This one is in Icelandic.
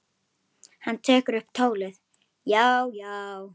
Hann tekur upp tólið: Já, já.